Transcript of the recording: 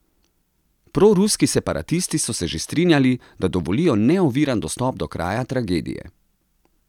Proruski separatisti so se že strinjali, da dovolijo neoviran dostop do kraja tragedije.